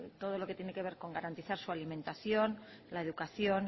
todo lo que tiene que ver con garantizar su alimentación la educación